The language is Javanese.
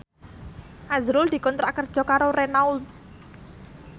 azrul dikontrak kerja karo Renault